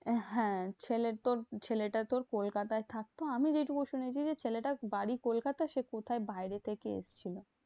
হ্যাঁ ছেলের তো ছেলেটা তো কলকাতায় থাকতো। আমি যেটুকু শুনেছি যে, ছেলেটার বাড়ি কলকাতায় সে কোথায় বাইরে থেকে এসেছিলো।